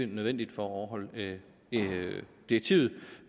nødvendigt for at overholde direktivet